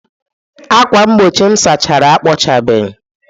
ákwà mgbochi m sachara, akpọchabeghị.